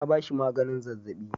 Ta ba shi maganin zazzaɓi.